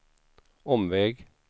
omväg